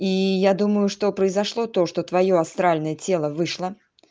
и я думаю что произошло то что твоё астральное тело вышло